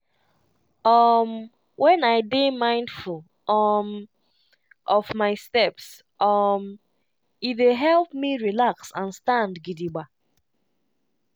um when i dey mindful um of my steps um e dey help me relax and stand gidigba.